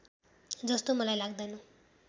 जस्तो मलाई लाग्दैन